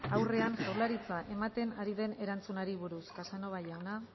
aurrean jaurlaritza ematen ari den erantzunari buruz casanova jauna